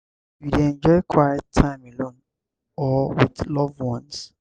you dey enjoy quiet time alone or with loved ones?